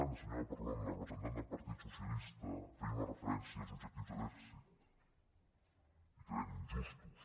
i la senyora parlon la representant del partit socialista feia una referència als objectius de dèficit i que eren injustos